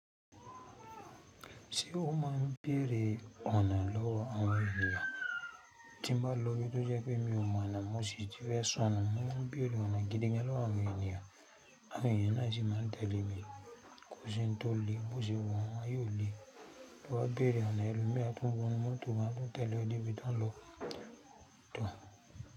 Ṣé o mọ n béèrè ọ̀nà lọ́wọ́ àwọn ènìyàn? Tí n bá lò ó ibí tó jẹ́ pé mí o mọ̀ ọ̀nà, mo sì ti fẹ́ sọ́nu mọ máa ń bérè ọ̀nà gídí gan lọ́wọ́ àwọn ènìyàn. Àwọn èèyàn náà sì máa ń tẹ́lẹ̀ mi. Kò sí ohun tó le è mú ọ́ ṣe wọ́n, ayé ò le. Lọ wa béèrè ọ̀nà ẹlòmíì á tún wọnú mọ́tò, áá tún tẹ̀ lé ọ débi tó ò ń lọ. Tóò.